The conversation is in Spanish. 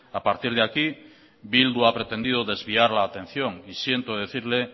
a partir de aquí bildu ha pretendido desviar la atención y siento decirle